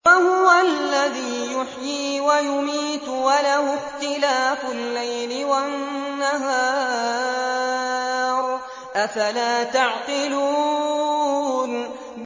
وَهُوَ الَّذِي يُحْيِي وَيُمِيتُ وَلَهُ اخْتِلَافُ اللَّيْلِ وَالنَّهَارِ ۚ أَفَلَا تَعْقِلُونَ